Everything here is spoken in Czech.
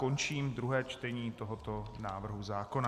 Končím druhé čtení tohoto návrhu zákona.